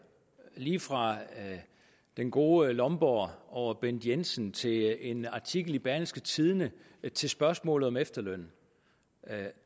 lige fra den gode lomborg over bent jensen til en artikel i berlingske tidende til spørgsmålet om efterlønnen